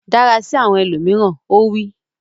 Dára sí àwọn ẹlòmíràn! Ó wí.